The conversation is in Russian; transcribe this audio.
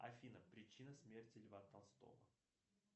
афина причина смерти льва толстого